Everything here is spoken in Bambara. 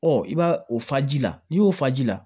Ɔ i b'a o faji la n'i y'o fa ji la